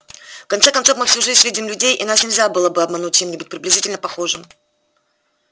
в конце концов мы всю жизнь видим людей и нас нельзя было бы обмануть чем-нибудь приблизительно похожим